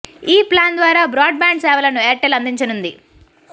ఈ ప్లాన్ ద్వారా broadband సేవలను ఎయిర్ టెల్ అందించనుంది